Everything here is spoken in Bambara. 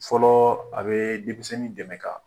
Fɔlɔ a bɛ denmisɛnin dɛmɛ ka